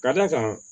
Ka d'a kan